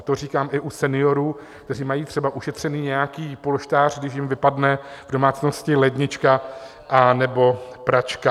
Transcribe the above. A to říkám i u seniorů, kteří mají třeba ušetřený nějaký polštář, když jim vypadne v domácnosti lednička anebo pračka.